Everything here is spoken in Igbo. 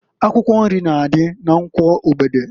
Akwụkwọ nri na adị na Nkwọ Ogbede.